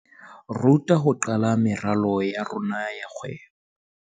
Ruta ho qala meralo ya rona ya kgwebo.